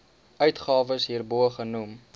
uitgawes hierbo genoem